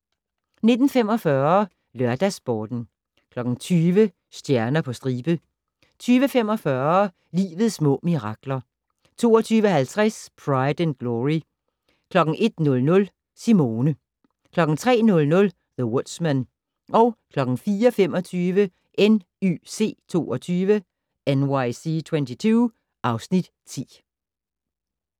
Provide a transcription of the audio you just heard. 19:45: LørdagsSporten 20:00: Stjerner på stribe 20:45: Livets små mirakler 22:50: Pride and Glory 01:00: Simone 03:00: The Woodsman 04:25: NYC 22 (Afs. 10)